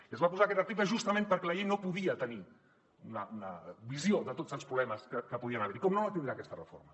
i s’hi va posar aquest article justament perquè la llei no podia tenir una visió de tots els problemes que podien haver hi com no la tindrà aquesta reforma